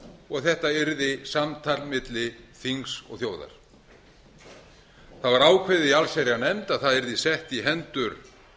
og þetta að samtals milli þings og þjóðar það var ákveðið í allsherjarnefnd að þetta yrði sett í hendur